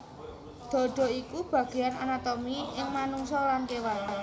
Dhadha iku bagéan anatomi ing manungsa lan kéwan